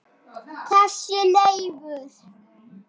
Þessi Leifur.